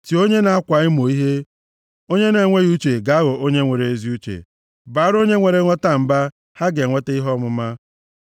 Tie onye na-akwa emo ihe, onye na-enweghị uche ga-aghọ onye nwere ezi uche, baara onye nwere nghọta mba, ha ga-enweta ihe ọmụma.